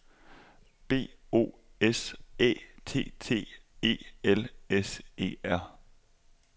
B O S Æ T T E L S E R